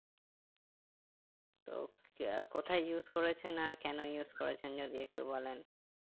তো কোথায় use করেছেন আর কেনো use করেছেন যদি একটু বলেন